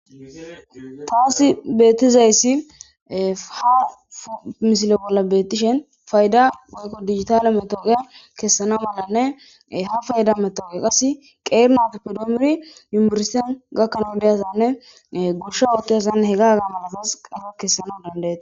taasi bettizayssiha misile bolla bettishen fayda woykko digitale metoogeya kessana malanne ha fayda metoe qas qeernatippe duomuri yumbursen gakkana deyazanne gosha ootteyzazanne he ga ga manasas qafa kessana dandeet